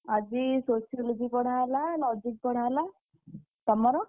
ଆଜି Sociology ପଢାହେଲା logic ପଢାହେଲା। ତମର?